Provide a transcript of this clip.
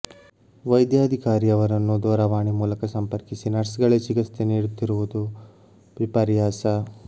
ವೈದ್ಯಾಧಿ ಕಾರಿಯವರನ್ನು ದೂರವಾಣಿ ಮೂಲಕ ಸಂಪರ್ಕಿಸಿ ನರ್ಸ್ಗಳೇ ಚಿಕಿತ್ಸೆ ನೀಡುತ್ತಿ ರುವುದು ವಿಪರ್ಯಾಸ